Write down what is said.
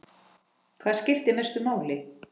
Hvað skiptir mestu máli?